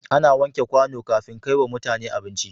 Ana wanke kwano kafin a kaiwa mutane abinci